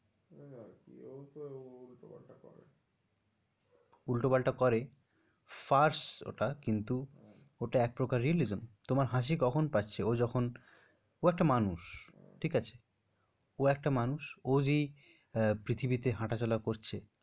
উল্টো পাল্টা করে। first ওটা কিন্তু ওটা একপ্রকার realism কিন্তু তোমার হাসি কখন পাচ্ছে? ও যখন ও একটা মানুষ, ঠিক আছে ও একটা মানুষ ও যেই পৃথিবীতে হাটা চলা করছে।